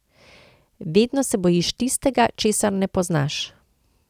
Vedno se bojiš tistega, česar ne poznaš.